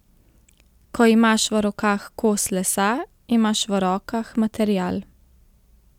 Ko imaš v rokah kos lesa, imaš v rokah material.